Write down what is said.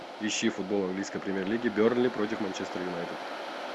ищи футбол английской премьер лиги бернли против манчестер юнайтед